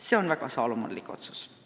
See on Saalomoni otsus.